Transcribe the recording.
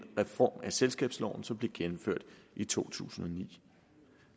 reform af selskabsloven som blev gennemført i to tusind og ni